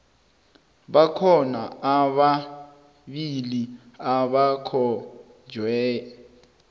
bakhona ababili abakhonjwe